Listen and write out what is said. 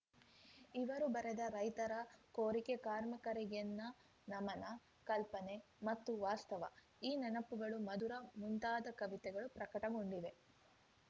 ಇವರು ಬರೆದ ರೈತರ ಕೋರಿಕೆ ಕಾರ್ಮಿಕರಿಗೆನ್ನ ನಮನ ಕಲ್ಪನೆ ಮತ್ತು ವಾಸ್ತವ ಈ ನೆನಪುಗಳು ಮಧುರ ಮುಂತಾದ ಕವಿತೆಗಳು ಪ್ರಕಟಗೊಂಡಿವೆ